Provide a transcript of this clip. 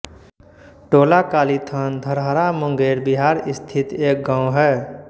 टोलाकालीथान धरहरा मुंगेर बिहार स्थित एक गाँव है